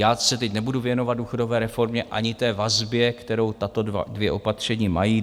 Já se teď nebudu věnovat důchodové reformě ani té vazbě, kterou tato dvě opatření mají.